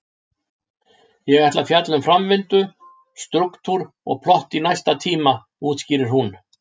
Ég ætla að fjalla um framvindu, strúktúr og plott í næsta tíma, útskýrir hún.